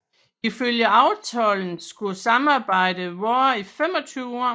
Ifølge aftalen skulle samarbejdet vare i 25 år